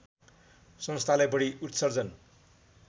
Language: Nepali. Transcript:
संस्थालाई बढी उत्सर्जन